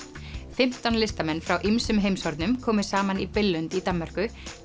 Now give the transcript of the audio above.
fimmtán listamenn frá ýmsum heimshornum komu saman í Billund í Danmörku